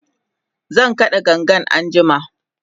zan kaɗa gangan anjima